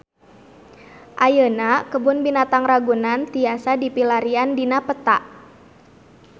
Ayeuna Kebun Binatang Ragunan tiasa dipilarian dina peta